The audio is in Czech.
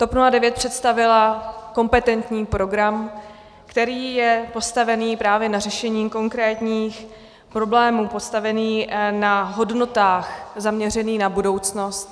TOP 09 představila kompetentní program, který je postavený právě na řešení konkrétních problémů, postavený na hodnotách, zaměřený na budoucnost.